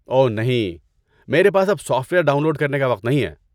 اوہ نہیں! میرے پاس اب سافٹ ویئر ڈاؤن لوڈ کرنے کا وقت نہیں ہے۔